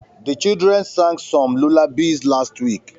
The children sang some lullabies last week